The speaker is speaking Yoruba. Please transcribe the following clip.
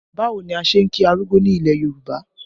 Báwo ni a ṣe ń kí arúgbó ní ilẹ̀ Yorùbá?